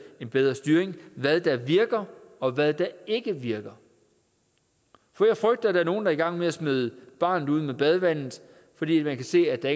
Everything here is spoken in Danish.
en bedre styring hvad der virker og hvad der ikke virker for jeg frygter der er nogle der er i gang med at smide barnet ud med badevandet fordi man kan se at der